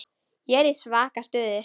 Ég er í svaka stuði.